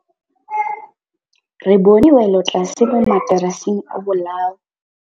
Re bone wêlôtlasê mo mataraseng a bolaô.